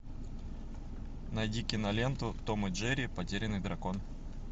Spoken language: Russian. найди киноленту том и джерри потерянный дракон